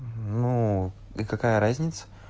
ну и какая разница